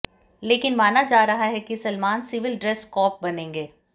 लेकिन माना जा रहा है कि सलमान सिविल ड्रेस कॅाप बनेंगे